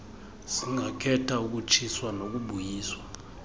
singakhetha ukutshiswa nokubuyiswa